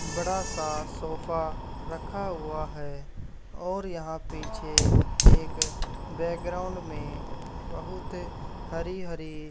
बड़ा सा सोफा रखा हुआ है और यहां पीछे एक बैकग्राउंड में बहुत हरी हरी --